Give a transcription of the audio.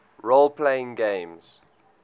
role playing games